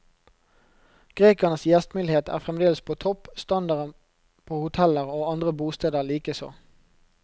Grekernes gjestmildhet er fremdeles på topp, standarden på hoteller og andre bosteder likeså.